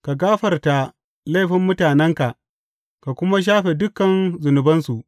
Ka gafarta laifin mutanenka ka kuma shafe dukan zunubansu.